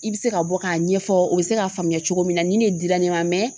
I bɛ se ka bɔ k'a ɲɛfɔ o bɛ se k'a faamuya cogo min na ni ne dira ne ma